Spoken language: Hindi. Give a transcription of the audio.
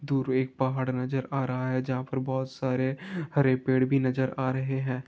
दूर एक पहाड़ नजर आ रहा है जहां पर बहोत सारे हरे पेड़ भी नजर आ रहे हैं।